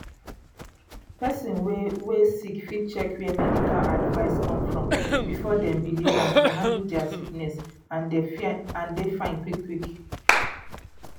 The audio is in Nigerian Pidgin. pesin wey wey sick fit check where medical advice come from before dem believe am to handle dia sickness and dey fine quick quick.